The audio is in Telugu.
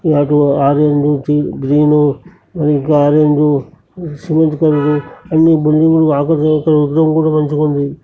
అటు ఆరయన మూర్తి గ్రీన్ యొక్క ఆరెంజ్ సిమెంట్ కలరు అన్ని బిల్డింగ్ లు విగ్రహం కూడా మంచిగుంది.